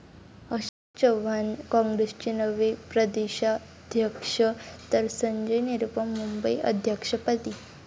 अशोक चव्हाण काँग्रेसचे नवे प्रदेशाध्यक्ष तर संजय निरुपम मुंबई अध्यक्षपदी